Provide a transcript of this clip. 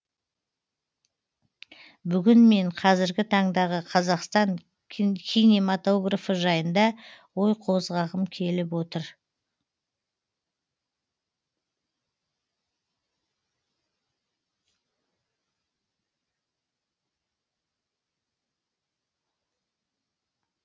бүгін мен қазіргі таңдағы қазақстан кинематографы жайында ой қозғағым келіп отыр